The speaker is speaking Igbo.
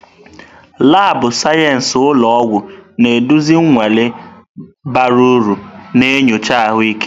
Laabụ̀ sayensị ụlọ ọgwụ na-eduzi nnwale bara uru na nyocha ahụike.